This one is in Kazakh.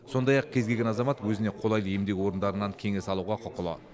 сондай ақ кез келген азамат өзіне қолайлы емдеу орындарынан кеңес алуға құқылы